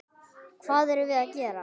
Hvað erum við gera?